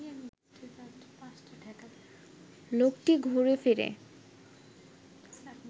লোকটি ঘুরেফিরে